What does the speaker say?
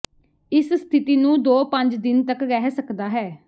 ਇਸ ਸਥਿਤੀ ਨੂੰ ਦੋ ਪੰਜ ਦਿਨ ਤਕ ਰਹਿ ਸਕਦਾ ਹੈ